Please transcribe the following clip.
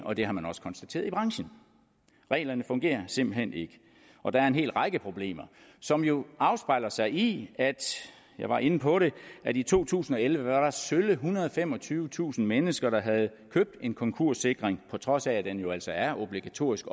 og det har man også konstateret i branchen reglerne fungerer simpelt hen ikke og der er en hel række problemer som jo afspejler sig i jeg var inde på det at i to tusind og elleve var der sølle ethundrede og femogtyvetusind mennesker der havde købt en konkurssikring på trods af at den jo altså er obligatorisk